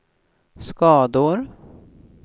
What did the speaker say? skador